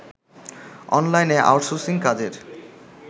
অনলাইনে আউটসোর্সিং কাজের